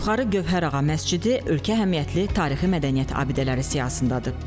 Yuxarı Gövhərağa məscidi ölkə əhəmiyyətli tarixi mədəniyyət abidələri siyahısındadır.